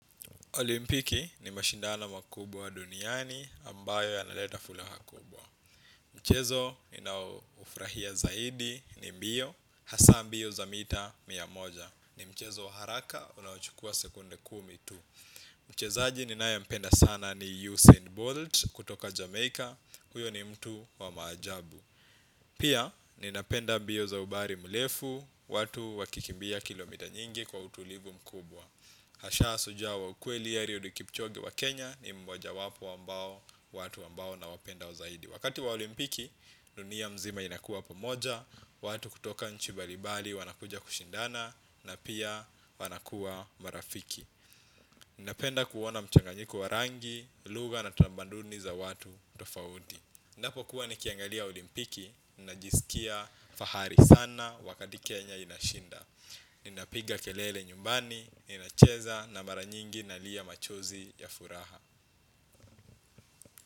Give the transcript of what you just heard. Olimpiki ni mashindano makubwa duniani ambayo yanaleta furaha kubwa. Mchezo ninaoufurahia zaidi ni mbio, hasa mbio za mita mia moja. Ni mchezo wa haraka, unaochukua sekunde kumi tu. Mchezaji ninayempenda sana ni Usain Bolt kutoka Jamaica, huyo ni mtu wa maajabu. Pia, ninapenda mbio za umbali mrefu, watu wakikimbia kilomita nyingi kwa utulivu mkubwa. Hasa shujaa wa ukweli Eliudi Kipchoge wa Kenya ni mmoja wapo ambao, watu ambao nawapenda zaidi. Wakati wa olimpiki, dunia mzima inakuwa pamoja, watu kutoka nchi mbalimbali wanakuja kushindana na pia wanakuwa marafiki. Ninapenda kuona mchanganyiko wa rangi, lugha na tamaduni za watu tofauti. Ninapokuwa nikiangalia olimpiki, ninajisikia fahari sana wakati Kenya inashinda. Ninapiga kelele nyumbani, ninacheza na mara nyingi ninalia machozi ya furaha.